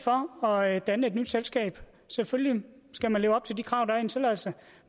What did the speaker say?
for at danne et nyt selskab selvfølgelig skal man leve op til de krav der er få tilladelse